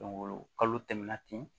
kalo tɛmɛna ten